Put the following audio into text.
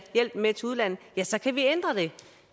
hjælpen med til udlandet ja så kan vi ændre det